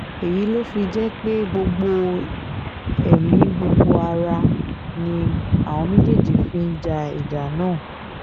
èyí ló fi jẹ́ pé gbogbo ẹ̀mí gbogbo ará ni àwọn méjèèjì fi ń ja ìjà náà